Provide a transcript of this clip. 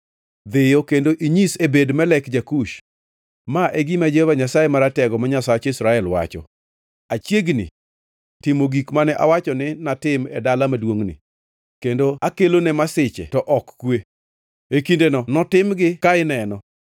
“Dhiyo kendo inyis Ebed-Melek ja-Kush, ‘Ma e gima Jehova Nyasaye Maratego, ma Nyasach Israel, wacho: Achiegni timo gik mane awacho ni natim ne dala maduongʼni, ka akelo ne masiche to ok kwe. E kindeno notimgi ka ineno.